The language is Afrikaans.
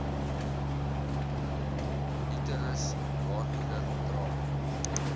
uterus baarmoeder dra